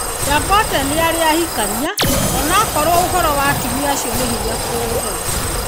Dangote nĩarĩ ahikania onakorwo ũhoro wa atumia acio nĩ hinya kũũtheria